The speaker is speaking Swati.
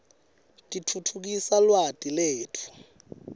titfutfukisa lwati letfu